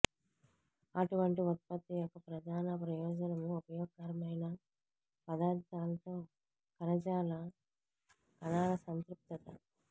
అటువంటి ఉత్పత్తి యొక్క ప్రధాన ప్రయోజనం ఉపయోగకరమైన పదార్ధాలతో కణజాల కణాల సంతృప్తత